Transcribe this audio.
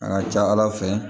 A ka ca ala fɛ